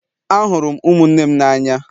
Ahụrụ m ụmụnne m n'anya